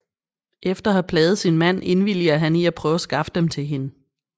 Efter at havde plaget sin mand indvilliger han i at prøve at skaffe dem til hende